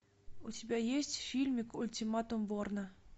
у тебя есть фильмик ультиматум борна